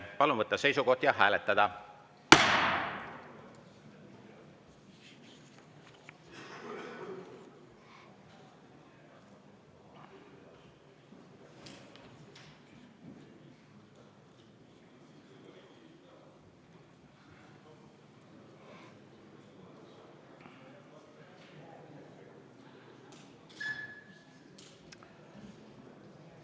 Palun võtta seisukoht ja hääletada!